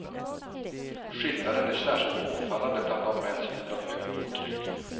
Skillnaden är särskilt påfallande bland de män som lider av högt blodtryck.